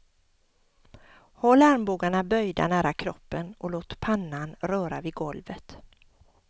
Håll armbågarna böjda nära kroppen och låt pannan röra vid golvet.